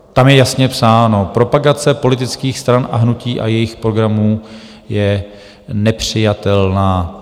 Tam je jasně psáno: propagace politických stran a hnutí a jejich programů je nepřijatelná.